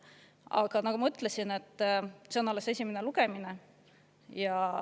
Aga nagu ma ütlesin, see on alles esimene lugemine.